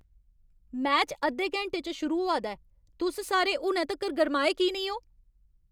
Match अद्धे घैंटे च शुरू होआ दा ऐ। तुस सारे हुनै तक्कर गर्माए की नेईं ओ?